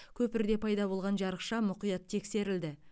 көпірде пайда болған жарықша мұқият тексерілді